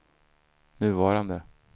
nuvarande